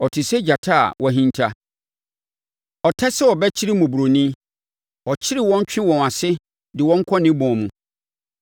Ɔte sɛ gyata a wahinta; ɔtɛ sɛ ɔbɛkyere mmɔborɔni; ɔkyere wɔn twe wɔn ase de wɔn kɔ ne bɔn mu.